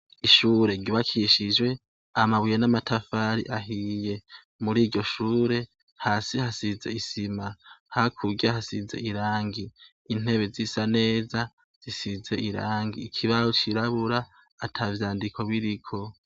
Ishure ryubakishije amabuye n'amatafari ahiye muriryo shure hasi hasize isima hakurya irangi intebe zisa neza zisize irangi, ikibaho cirabura atavyandiko biriko.